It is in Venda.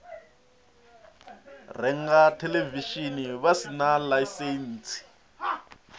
renga theḽevishini vha sina ḽaisentsi